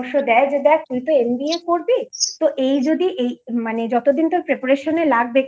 দেখ তুই তো MBAকরবি তো এই যদি মানে যতদিন Cat পরীক্ষা জন্য তোর preparation এ লাগবে